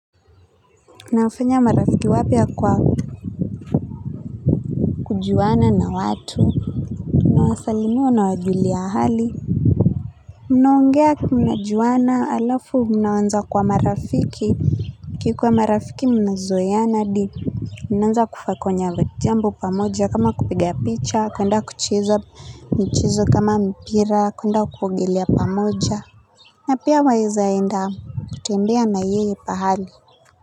Nafanya marafiki wapya kwa kujuana na watu unawasalimia unwajulia hali. Mnaongea mnajuana halafu mnaanza kuwa marafiki mkikuwa marafiki mnazoeana hadi mnaanza kufanya jambo pamoja kama kupiga picha kuenda kucheza mchezo kama mpira kuenda kuogelea pamoja na pia mwaeza enda kutembea na yeye pahali kwa hivyo.